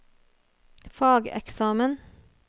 fageksamen